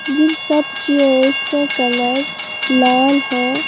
जिन सब चेयर्स का कलर लाल है।